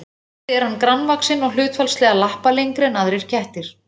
Bæði er hann grannvaxinn og hlutfallslega lappalengri en aðrir kettir.